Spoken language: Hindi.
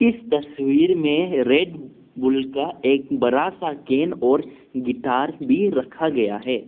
इस तस्वीर में रेड बुल का एक बड़ा सा गेन और गिटार भी रखा गया है।